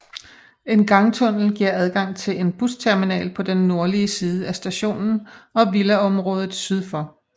En gangtunnel giver adgang til en busterminal på den nordlige side af stationen og villaområdet syd for